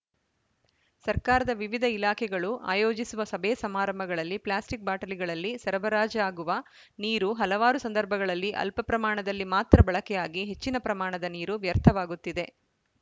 ಸರ್ಕಾರದ ವಿವಿಧ ಇಲಾಖೆಗಳು ಆಯೋಜಿಸುವ ಸಭೆಸಮಾರಂಭಗಳಲ್ಲಿ ಪ್ಲಾಸ್ಟಿಕ್‌ ಬಾಟಲಿಗಳಲ್ಲಿ ಸರಬರಾಜಾಗುವ ನೀರು ಹಲವಾರು ಸಂದರ್ಭಗಳಲ್ಲಿ ಅಲ್ಪಪ್ರಮಾಣದಲ್ಲಿ ಮಾತ್ರ ಬಳಕೆಯಾಗಿ ಹೆಚ್ಚಿನ ಪ್ರಮಾಣದ ನೀರು ವ್ಯರ್ಥವಾಗುತ್ತಿದೆ